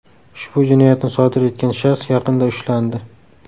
Ushbu jinoyatni sodir etgan shaxs yaqinda ushlandi.